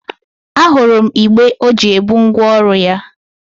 A hụrụ m igbé ọ ji ebu ngwa ọrụ ya.